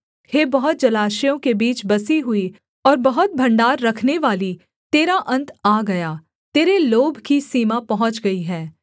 हे बहुत जलाशयों के बीच बसी हुई और बहुत भण्डार रखनेवाली तेरा अन्त आ गया तेरे लोभ की सीमा पहुँच गई है